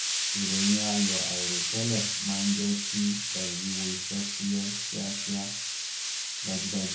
ìròyìn ayọ̀ àìrò tẹ́lẹ̀ maá ń jẹ́ kí ẹrù wúwo iṣẹ́ fúyẹ́ kíakíá dájúdájú